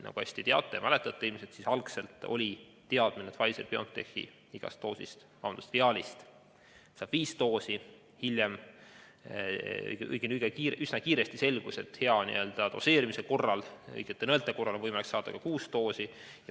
Nagu te ilmselt teate ja mäletate, oli algselt teadmine, et igast Pfizer/BioNTechi viaalist saab viis doosi, aga üsna kiiresti selgus, et hea doseerimise ja õigete nõelte korral on võimalik saada ka kuus doosi.